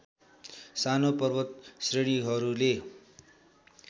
सानो पर्वत श्रेणीहरूले